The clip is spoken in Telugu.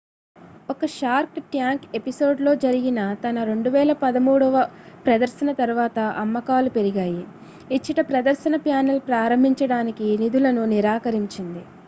ఒక షార్క్ ట్యాంక్ ఎపిసోడ్ లో జరిగిన తన 2013 ప్రదర్శన తర్వాత అమ్మకాలు పెరిగాయి ఇచ్చట ప్రదర్శన ప్యానెల్ ప్రారంభించడానికి నిధులను నిరాకరించింది